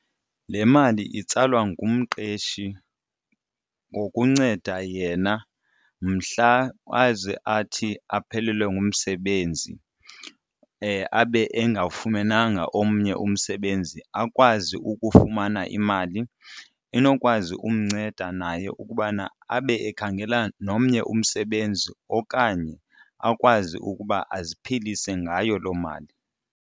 Le mali itsalwa ngumqeshi ngokunceda yena mhla aze athi aphelelwe ngumsebenzi abe engawafumenanga omnye umntu msebenzi akwazi ukufumana imali enokwazi umnceda naye ukubana abe ekhangela nomnye umsebenzi okanye akwazi ukuba aziphilise ngayo loo mali.